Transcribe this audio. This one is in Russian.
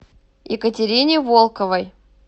екатерине волковой